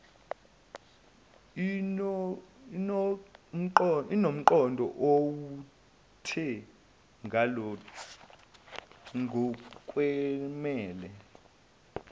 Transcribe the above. inomqondo ovuthwe ngokwenele